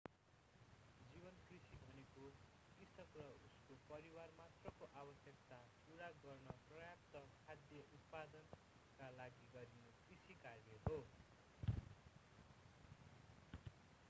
जीवन कृषि भनेको कृषक र उसको परिवार मात्रको आवश्यकता पूरा गर्न पर्याप्त खाद्य उत्पादनका लागि गरिने कृषि कार्य हो